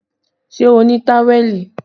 Ṣé o ní táwẹ̀lì?